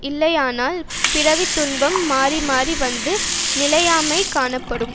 இல்லையானால் பிறவித்துன்பம் மாறி மாறி வந்து நிலையாமைக் காணப்படும்